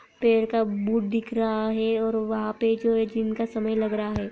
Paid का बूट दिख रहा है और वहा पे जो दिन का समय लग रहा है।